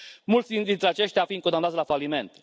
mulți dintre aceștia fiind condamnați la faliment.